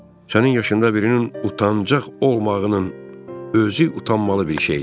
Sənin yaşında birinin utancaqlıq olmağının özü utanmalı bir şey idi.